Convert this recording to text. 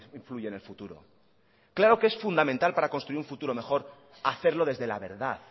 influye en el futuro claro que es fundamental para construir un futuro mejor hacerlo desde la verdad